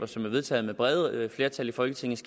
som er vedtaget med brede flertal i folketinget